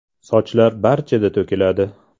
Sochlar barchada to‘kiladi.